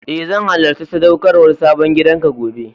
E, zan halacci sadaukarwan sabon gidan ka gobe.